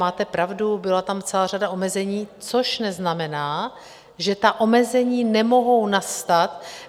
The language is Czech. Máte pravdu, byla tam celá řada omezení, což neznamená, že ta omezení nemohou nastat.